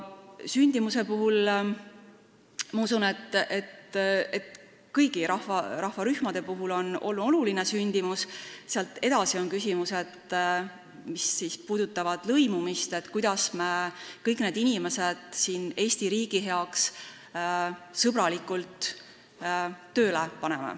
Sündimusest rääkides, ma usun, et kõigi rahvusrühmade puhul on sündimus oluline, sealt edasi tekivad küsimused, mis puudutavad lõimumist, seda, kuidas me kõik need inimesed siin Eesti riigi heaks sõbralikult tööle paneme.